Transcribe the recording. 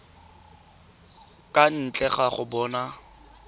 kwa ntle ga go bona